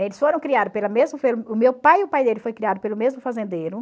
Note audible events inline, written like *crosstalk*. Eles foram criados pela mesmo *unintelligible* o meu pai e o pai dele foi criado pelo mesmo fazendeiro.